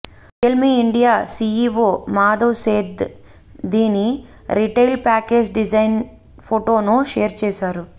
real మీ India CEO Madhav Seth దీని retail package design ఫొటోను share చేశారు